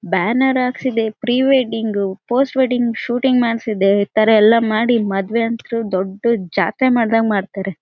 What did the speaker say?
Banner ಹಾಕ್ಸಿದೆ pre wedding post wedding shooting ಮಾಡಿಸಿದ್ದೇವೆ ಈ ತರ ಎಲ್ಲ ಮಾಡಿಮದುವೆಯಂತು ದೊಡ್ಡ ಜಾತ್ರೆ ಮಾಡಿದಂಗೆ ಮಾಡ್ತಾರೆ.